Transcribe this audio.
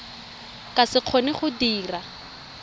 ka se kgone go dira